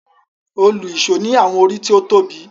Òlu-ìsó ni àwọn orí tó tóbi.